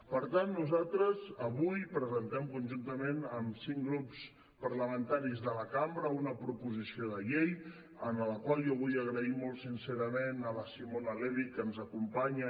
per tant nosaltres avui presentem conjuntament amb cinc grups parlamentaris de la cambra una proposició de llei per la qual jo vull donar les gràcies molt sincerament a la simona levi que ens acompanya